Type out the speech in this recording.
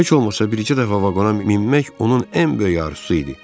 Heç olmasa bircə dəfə vaqona minmək onun ən böyük arzusu idi.